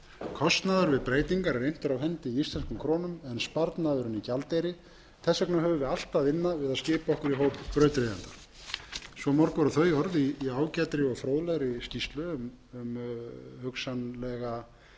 kostnaður við breytingar er inntur af hendi með íslenskum krónum en sparnaðurinn í gjaldeyri þess vegna höfum við allt að vinna við að skipa okkur í hóp brautryðjenda svo mörg voru þau orð í ágætri og fróðlegri skýrslu um hugsanlega